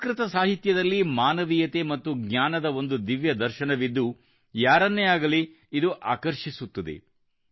ಸಂಸ್ಕೃತ ಸಾಹಿತ್ಯದಲ್ಲಿ ಮಾನವೀಯತೆ ಮತ್ತು ಜ್ಞಾನದ ಒಂದು ದಿವ್ಯ ದರ್ಶನವಿದ್ದು ಯಾರನ್ನೇ ಆಗಲಿ ಇದು ಆಕರ್ಷಿಸುತ್ತದೆ